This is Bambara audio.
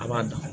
A b'a dan